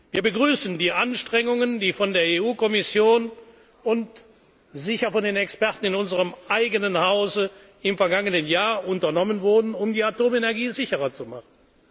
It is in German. gehandelt. Wir begrüßen die Anstrengungen, die von der EU Kommission und von den Experten in unserem eigenen Hause im vergangenen Jahr unternommen wurden, um die Atomenergie